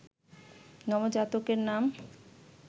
নবজাতকের নাম